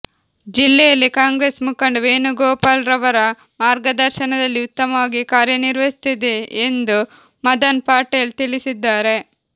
ಜಿಲ್ಲೆಯಲ್ಲಿ ಕಾಂಗ್ರೆಸ್ ಮುಖಂಡ ವೇಣು ಗೋಪಾಲ್ರವರ ಮಾರ್ಗದರ್ಶನದಲ್ಲಿ ಉತ್ತಮವಾಗಿ ಕಾರ್ಯನಿರ್ವಹಿಸುತ್ತಿದೆ ಎಂದು ಮದನ್ ಪಟೇಲ್ ತಿಳಿಸಿದ್ದಾರೆ